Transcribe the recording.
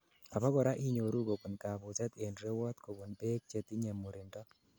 abakora inyoru kobun kabuset en rewot kobun beek chetinyei murindo